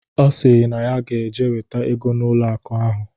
Ọ sịrị na ya ge-eje weta ego n'ụlọ akụ ahụ.